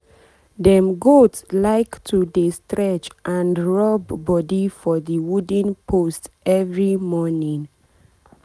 dem goat like to dey stretch and rub body for the wooden post every morning.